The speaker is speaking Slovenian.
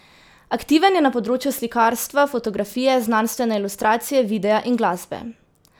Aktiven je na področju slikarstva, fotografije, znanstvene ilustracije, videa in glasbe.